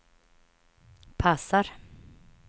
passar